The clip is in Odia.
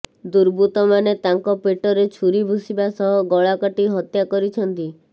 ଦୁର୍ବୃତ୍ତମାନେ ତାଙ୍କ ପେଟରେ ଛୁରୀ ଭୁଷିବା ସହ ଗଳାକାଟି ହତ୍ୟା କରିଛନ୍ତି